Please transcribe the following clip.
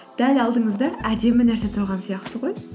дәл алдыңызда әдемі нәрсе тұрған сияқты ғой